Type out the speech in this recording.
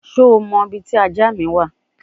Şho mo ibi ti aja mi wa?